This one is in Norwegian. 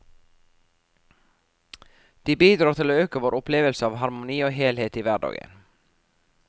De bidrar til å øke vår opplevelse av harmoni og helhet i hverdagen.